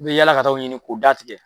I bɛ yala ka taa o ɲini k'o da tigɛ.